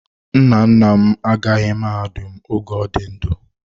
Nna nna m agaghị mahadum oge ọ dị ndụ.